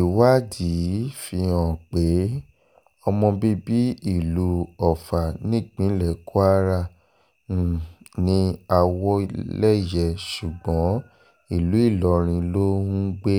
ìwádìí fihàn pé ọmọ bíbí ìlú ọfà nípínlẹ̀ kwara um ní àwọ̀léyé ṣùgbọ́n ìlú ìlọrin ló ń um gbé